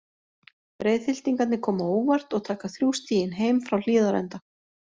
Breiðhyltingarnir koma á óvart og taka þrjú stigin heim frá Hlíðarenda.